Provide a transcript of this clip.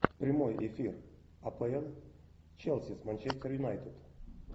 прямой эфир апл челси с манчестер юнайтед